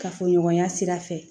Kafoɲɔgɔnya sira fɛ